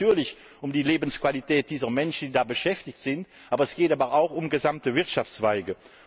Es geht natürlich um die Lebensqualität dieser Menschen, die da beschäftigt sind, aber es geht auch um gesamte Wirtschaftszweige.